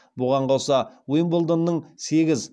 бұған қоса уимблдонның сегіз